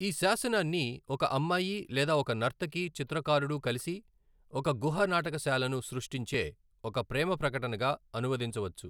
ఈ శాసనాన్ని ఒక అమ్మాయి లేదా ఒక నర్తకి చిత్రకారుడు కలిసి ఒక గుహ నాటకశాలను సృష్టించే ఒక ప్రేమ ప్రకటనగా అనువదించవచ్చు.